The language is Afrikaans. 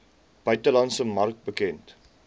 buitelandse mark bekend